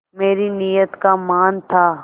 मेरी नीयत का मान था